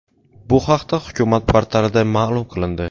Bu haqda hukumat portalida ma’lum qilindi .